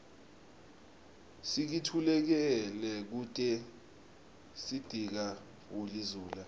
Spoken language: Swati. sikitululeke kute sitiga guli zula